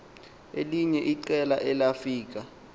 elinye iqela elafika